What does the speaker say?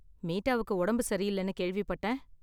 மீட்டாவுக்கு உடம்பு சரி இல்லனு கேள்விப்பட்டேன்.